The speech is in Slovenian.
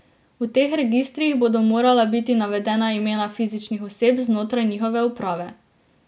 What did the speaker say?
V teh registrih bodo morala biti navedena imena fizičnih oseb znotraj njihove uprave.